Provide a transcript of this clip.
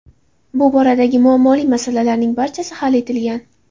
Bu boradagi muammoli masalalarning barchasi hal etilgan.